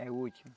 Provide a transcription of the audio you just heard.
É o último.